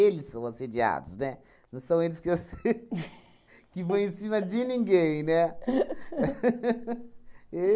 são assediados, né? Não são eles que ass que vão em cima de ninguém, né?